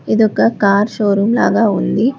ఇదొక car showroom లాగ ఉంది.